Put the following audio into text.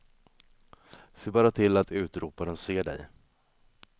Se bara till att utroparen ser dig.